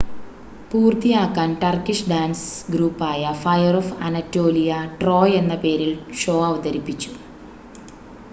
"പൂർത്തിയാക്കാൻ Turkish dance ഗ്രൂപ്പായ fire of Anatolia "Troy" എന്ന പേരിൽ ഷോ അവതരിപ്പിച്ചു.